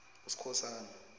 uskhosana